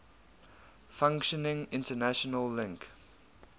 functioning international link